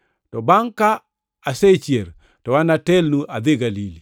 To bangʼ ka asechier to anatelnu adhi Galili.”